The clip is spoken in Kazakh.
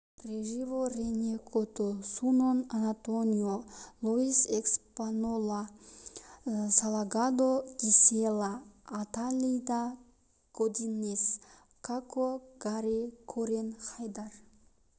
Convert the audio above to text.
режибо рене кото сунон антонио луис эспинола салгадо гисела аталида годинес сасо гари корен хайдар